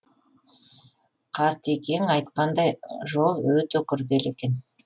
қартекең айтқандай жол өте күрделі екен